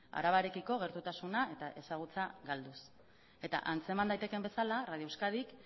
arabarekiko gertutasuna eta ezagutza galduz eta antzeman daitekeen bezala radio euskadik